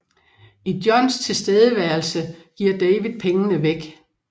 I Johns tilstedeværelse giver David pengene væk